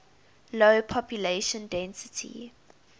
low population density